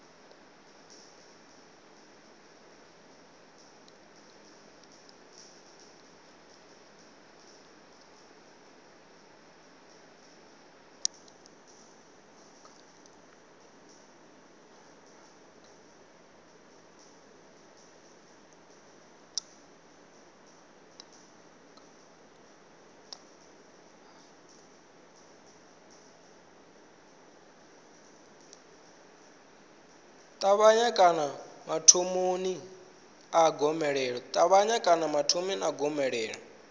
ṱavhanya kana mathomoni a gomelelo